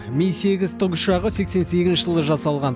ми сегіз тікұшағы сексен сегізінші жылы жасалған